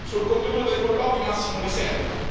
Sul contenuto dei colloqui massimo riserbo.